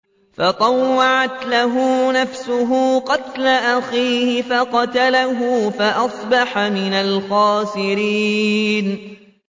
فَطَوَّعَتْ لَهُ نَفْسُهُ قَتْلَ أَخِيهِ فَقَتَلَهُ فَأَصْبَحَ مِنَ الْخَاسِرِينَ